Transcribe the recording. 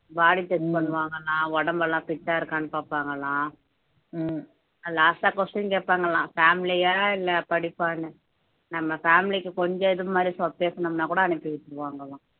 body check பண்ணுவாங்கன்னா உடம்பெல்லாம் fit ஆ இருக்கான்னு பாப்பாங்களாம் last ஆ question கேட்பாங்களாம் family யா இல்லை படிப்பான்னு நம்ம family க்கு கொஞ்சம் இது மாதிரி பேசுனோம்ன்னா கூட அனுப்பி வச்சிருவாங்கலாம்